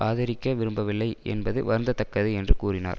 ஆதரிக்க விரும்பவில்லை என்பது வருந்த தக்கது என்று கூறினார்